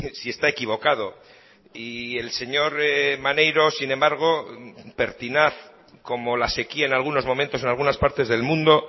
si está equivocado y el señor maneiro sin embargo pertinaz como la sequía en algunos momentos en algunas partes del mundo